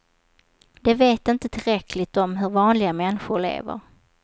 De vet inte tillräckligt om hur vanliga människor lever.